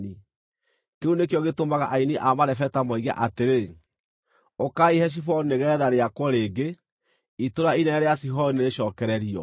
Kĩu nĩkĩo gĩtũmaga aini a marebeta moige atĩrĩ: “Ũkaai Heshiboni nĩgeetha rĩakwo rĩngĩ; itũũra inene rĩa Sihoni nĩrĩcokererio.